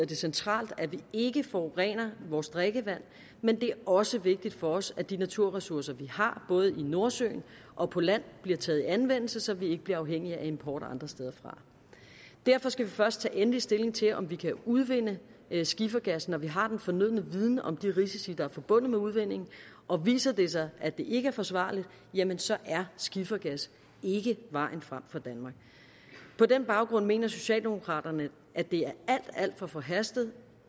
det centralt at vi ikke forurener vores drikkevand men det er også vigtigt for os at de naturressourcer vi har både i nordsøen og på land bliver taget i anvendelse så vi ikke bliver afhængige af import andre steder fra derfor skal vi først tage endelig stilling til om vi kan udvinde skifergas når vi har den fornødne viden om de risici der er forbundet med udvinding og viser det sig at det ikke er forsvarligt jamen så er skifergas ikke vejen frem for danmark på den baggrund mener socialdemokraterne at det er alt alt for forhastet